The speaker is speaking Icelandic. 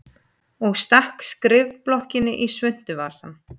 Og stakk skrifblokkinni í svuntuvasann.